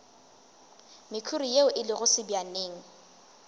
mekhuri ye e lego sebjaneng